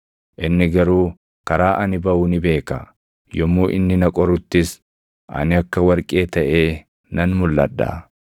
Inni garuu karaa ani baʼu ni beeka; yommuu inni na qoruttis ani akka warqee taʼee nan mulʼadha.